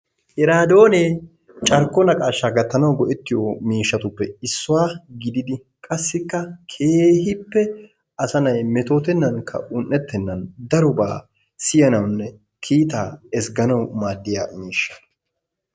Wraadoonee carkko naqaashshaa gattanawu go'ettiyo miishshatuppe issuwa gididi qassikka keehippw asanay metootennaaninne un"ettennan darobaa siyanawunne. kiitaa aattanawu maaddiya miishsha.